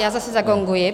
Já zase zagonguji.